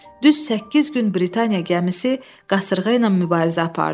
Düz səkkiz gün Britaniya gəmisi qasırğa ilə mübarizə apardı.